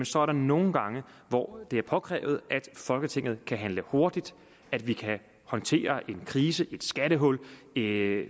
så er der nogle gange hvor det er påkrævet at folketinget kan handle hurtigt at vi kan håndtere en krise et skattehul det